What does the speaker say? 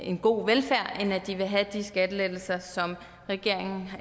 en god velfærd end at de vil have de skattelettelser som regeringen